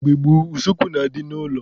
Mgbe gboo, useekwu na-adị n'ilo.